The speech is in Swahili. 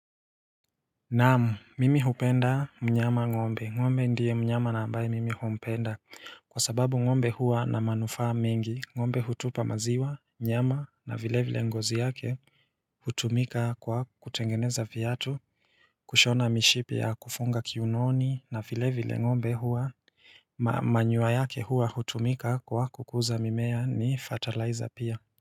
Naamu mimi hupenda mnyama ngombe ngombe ndiye mnyama na ambaye mimi humpenda kwa sababu ngombe hua na manufa mengi ngombe hutupa maziwa nyama na vile vile ngozi yake hutumika kwa kutengeneza viatu kushona mishipi ya kufunga kiunoni na vile vile ngombe hua manyoya yake hua hutumika kwa kukuza mimea ni fertilizer pia.